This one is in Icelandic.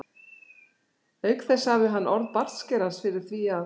Auk þess hafði hann orð bartskerans fyrir því að